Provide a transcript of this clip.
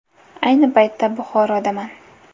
Ayni paytda Buxorodaman.